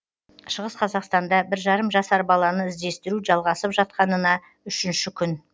шығыс қазақстанда бір жарым жасар баланы іздестіру жалғасып жатқанына үшінші күн